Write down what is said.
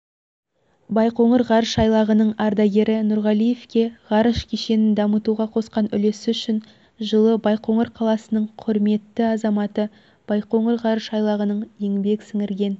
байқоңыр ғарыш айлағының ардагері нұрғалиевке ғарыш кешенін дамытуға қосқан үлесі үшін жылы байқоңыр қаласының құрметті азаматы байқоңыр ғарыш айлағының еңбек сіңірген